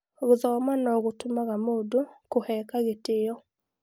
Gũthoma no-gũtũmaga mũndũ kũheka gĩtĩo.